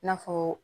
I n'a fɔ